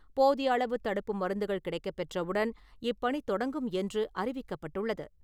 போதிய அளவு தடுப்பு மருந்துகள் கிடைக்கப் பெற்றவுடன் இப்பணி தொடங்கும் என்று அறிவிக்கப்பட்டுள்ளது.